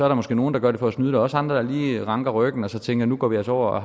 der måske nogle der gør det for at snyde også andre der lige retter ryggen og tænker nu går vi altså over